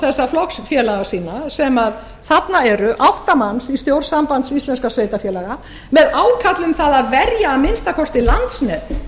þessa flokksfélaga sína sem þarna eru átta manns í stjórn sambands íslenskum sveitarfélaga með ákalli um það að verja að minnsta kosti landsnet